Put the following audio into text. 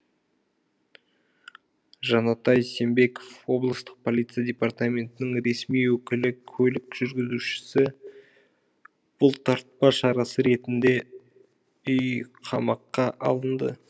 жанатай сембеков облыстық полиция департаментінің ресми өкілі көлік жүргізушісі бұлтартпа шарасы ретінде үйқамаққа алынды